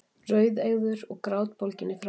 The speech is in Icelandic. Rauðeygður og grátbólginn í framan.